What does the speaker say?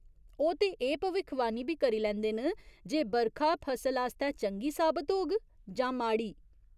ओह् ते एह् भविक्खवाणी बी करी लैंदे न जे बरखा फसल आस्तै चंगी साबत होग जां माड़ी।